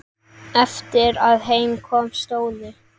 Eftir að heim kom stóðu